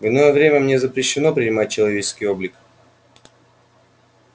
в иное время мне запрещено принимать человеческий облик